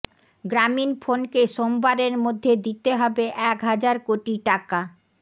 গ্রামীণফোনকে সোমবারের মধ্যে দিতে হবে এক হাজার কোটি টাকা